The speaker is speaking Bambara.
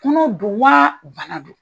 Kɔnɔ do waa bana don?